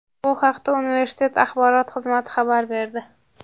Bu haqda universitet Axborot xizmati xabar berdi.